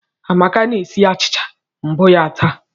Amaka na-esi achịcha mbụ ya taa